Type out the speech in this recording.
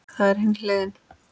Það er hin hliðin.